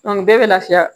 bɛɛ bɛ lafiya